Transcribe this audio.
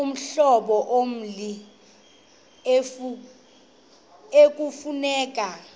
uhlobo lommi ekufuneka